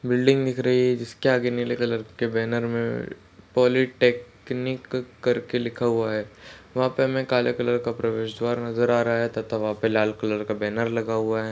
Building दिख रही है जिसके आगे नीले कलर के बैनर मे पॉलीटेकनिक करके लिखा हुआ है वहाँ पे हमे काले कलर का प्रवेशद्वार नज़र आ रहा है तथा वहा पे लाल कलर का बैनर लगा हुवा है।